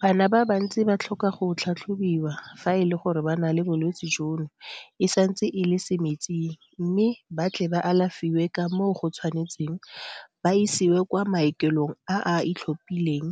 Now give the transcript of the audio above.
Bana ba bantsi ba tlhoka go tlhatlhobiwa fa e le gore ba na le bolwetse jono e santse e le semetsing mme ba tle ba alafiwe ka moo go tshwanetseng ba isiwe kwa maokelong a a itlhophileng